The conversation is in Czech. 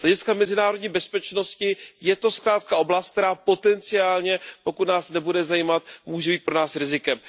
Z hlediska mezinárodní bezpečnosti je to zkrátka oblast, která potenciálně, pokud nás nebude zajímat, může být pro nás rizikem.